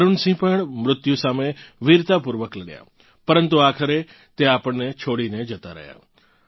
વરુણ સિંહ પણ મૃત્યુ સામે વીરતાપૂર્વક લડ્યાં પરંતુ આખરે તેઓ આપણને છોડીને જતાં રહ્યાં